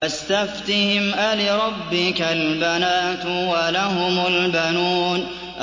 فَاسْتَفْتِهِمْ أَلِرَبِّكَ الْبَنَاتُ وَلَهُمُ الْبَنُونَ